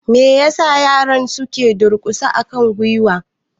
Me ya sa yaran su ka durƙusa a kan gwiwarsu?